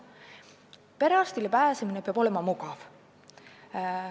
Perearsti vastuvõtule pääsemine peab olema mugav.